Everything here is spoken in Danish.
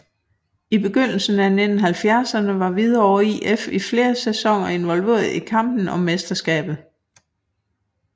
I begyndelsen af 1970erne var Hvidovre IF i flere sæsoner involveret i kampen om mesterskabet